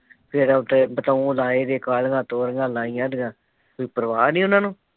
ਤੇ ਫੇਰ ਉੱਥੇ ਬਤਾਊ ਲਾਏ ਦੇ । ਕਾਲੀਆਂ ਤੋਰੀਆਂ ਲਈਆਂ ਦਈਆ ਕੋਈ ਪਰਵਾਹ ਨਹੀ ਉਹਨਾ ਨੂੰ